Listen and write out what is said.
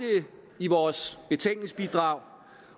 i vores betænkningsbidrag